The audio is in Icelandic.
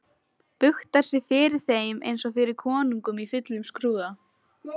Buktar sig fyrir þeim einsog fyrir konungum í fullum skrúða.